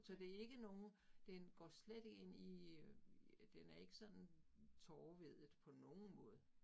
Så det ikke nogen, den går slet ikke ind i øh, den er ikke sådan tårevædet på nogen måde